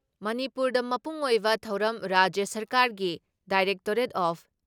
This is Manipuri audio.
ꯃꯅꯤꯄꯨꯔꯗ ꯃꯄꯨꯡ ꯑꯣꯏꯕ ꯊꯧꯔꯝ ꯔꯥꯖ꯭ꯌ ꯁꯔꯀꯥꯔꯒꯤ ꯗꯥꯏꯔꯦꯛꯇꯣꯔꯦꯠ ꯑꯣꯐ